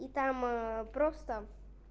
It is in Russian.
и там просто